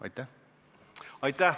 Aitäh!